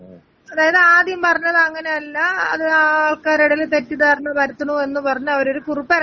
അതായത് ആദ്യം പറഞ്ഞത് അങ്ങനെ അല്ല അത് ആള് ക്കാരെടെല് തെറ്റിധാരണ പരത്തുണു എന്ന് പറഞ്ഞ് അവര് കുറിപ്പെറക്കി.